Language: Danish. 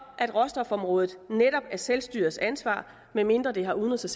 at råstofområdet netop er selvstyrets ansvar medmindre det har udenrigs og